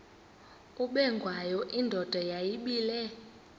ubengwayo indoda yayibile